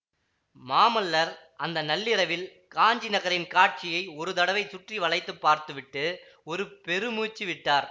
மாமல்லர் அந்த நள்ளிரவில் காஞ்சி நகரின் காட்சியை ஒரு தடவை சுற்றி வளைத்துப் பார்த்து விட்டு ஒரு பெருமூச்சு விட்டார்